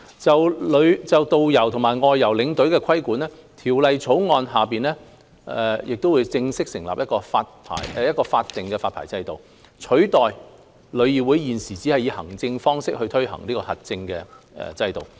就導遊和外遊領隊的規管，《條例草案》會正式設立一個法定發牌制度，取代旅議會現時只以行政方式推行的核證制度。